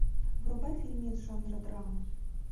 врубай фильмец жанра драма